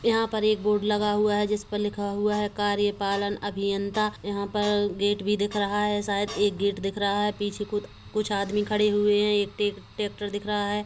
यहां पर एक बोर्ड लगा हुआ है जिस पर लिखा हुआ है कार्यपालन अभियंता यहां पर गेट भी दिख रहा है शायद एक गेट दिख रहा है पीछे कूत कुछ आदमी खड़े हुए हैं एक ट्रेक्टर दिख रहा है।